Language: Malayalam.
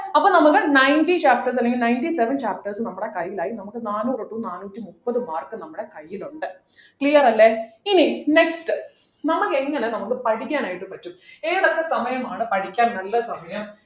അപ്പൊ നമുക്ക് ninety chapters അല്ലെങ്കിൽ ninety seven chapters നമ്മളെ കയ്യിലായി നമുക്ക് നാനൂറു to നാനൂറ്റിമുപ്പത് mark നമ്മുടെ കയ്യിൽ ഉണ്ട് clear അല്ലെ ഇനി next നമുക്ക് എങ്ങനെ നമുക്ക് പഠിക്കാൻ ആയിട്ട് പറ്റും ഏതൊക്കെ സമയമാണ് പഠിക്കാൻ നല്ല സമയം